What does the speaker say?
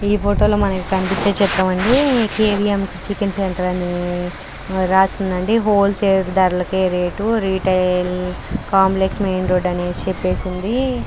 ఈ ఫోటోలో మనకు కనిపించే చిత్రం అండి K V M chicken centre అని రాసి ఉందండి హోల్ సేల్ ధరలకే rate retail complex main road అని చెప్పేసి ఉంది.